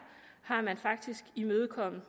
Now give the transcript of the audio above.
har man faktisk imødekommet